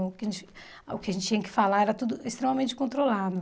O que a gente o que a gente tinha que falar era tudo extremamente controlado.